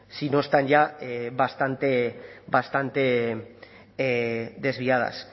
si no están ya bastante desviadas